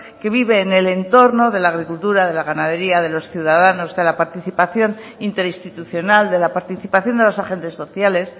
que vive en el entorno de la agricultura de la ganadería de los ciudadanos de la participación interinstitucional de la participación de los agentes sociales